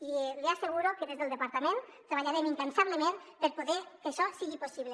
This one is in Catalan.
i li asseguro que des del departament treballarem incansablement per poder fer que això sigui possible